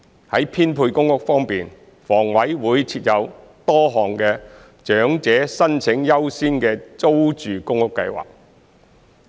在編配公屋方面，房委會設有多項長者申請者優先資格的租住公屋計劃。